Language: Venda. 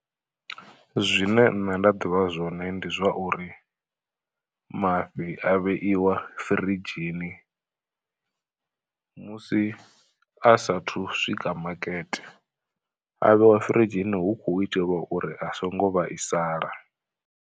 Zwine nṋe nda ḓivha zwone ndi zwa uri, mafhi a vheiwa firidzhini musi a saathu swika makete. A vheiwa firidzhini hu khou itelwa uri a songo vhaisala.